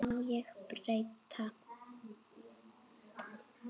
Má ég breyta?